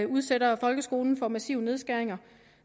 udsætter folkeskolen for massive nedskæringer